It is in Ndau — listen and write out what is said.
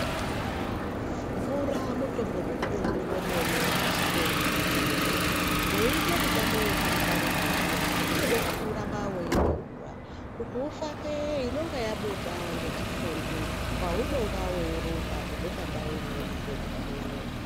Mvura mutombo mukuru wemene pashi penyika inei weita mitambo wekuruka ruka zviya woramna weimwa mvura kuti ufake vechifynde paunenge weirumba kubva pandau imweni kusvika pandau imweni.